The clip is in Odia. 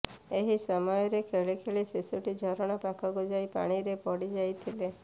ଏହି ସମୟରେ ଖେଳି ଖେଳି ଶିଶୁଟି ଝରଣା ପାଖକୁ ଯାଇ ପାଣିରେ ପଡ଼ି ଯାଇଥିଲେ